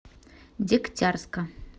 дегтярска